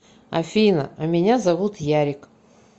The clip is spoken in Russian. афина а меня зовут ярик